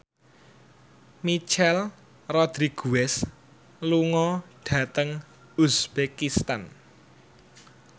Michelle Rodriguez lunga dhateng uzbekistan